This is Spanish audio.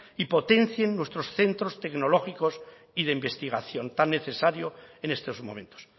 y potencien nuestros centros tecnológicos y de investigación tan necesario en estos momentos